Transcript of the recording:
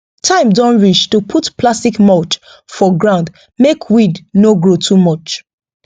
time don reach to put plastic mulch for ground make weed no grow too much